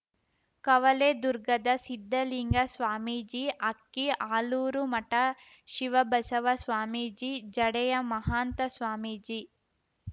ಕವಲೆ ದುರ್ಗದ ಸಿದ್ಧಲಿಂಗ ಸ್ವಾಮೀಜಿ ಅಕ್ಕಿ ಆಲೂರು ಮಠ ಶಿವಬಸವ ಸ್ವಾಮೀಜಿ ಜಡೆಯ ಮಹಾಂತ ಸ್ವಾಮೀಜಿ